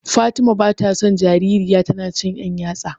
Fatima bata son jarirya tana cin ɗan yatsa.